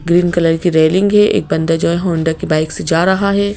Green colour की railing है एक बन्दा जो है होंडा की बाइक से जा रहा है।